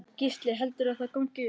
Gísli: Heldurðu að þetta gangi upp?